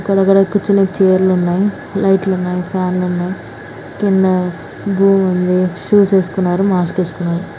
ఇకద ఆకద కూర్చోడానికి చైర్ లు ఉన్నాయ్. లైట్ లు ఉనాయి ఫ్యాన్ లు ఉనాయి కింద. ఉంది షూస్ వేసుకునరు మాస్క్ వేసుకునరు.